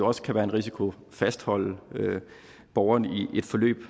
også kan være en risiko fastholde borgerne i et forløb